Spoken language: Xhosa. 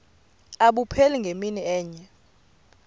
abupheli ngemini enye